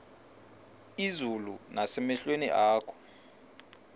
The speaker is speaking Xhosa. izulu nasemehlweni akho